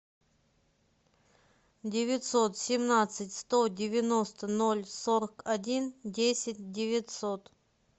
девятьсот семнадцать сто девяносто ноль сорок один десять девятьсот